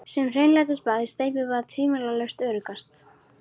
Sem hreinlætisbað er steypibað tvímælalaust öruggast.